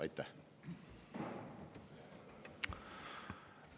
Aitäh!